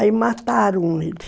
Aí mataram ele.